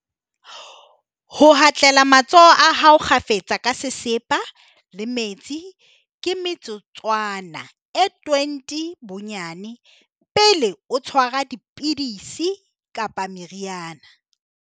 Ho hatlela matsoho a hao kgafetsa ka sesepa le metsi ka metsotswana e 20 bo-nnyane, pele o tshwara di-pidisi kapa meriana.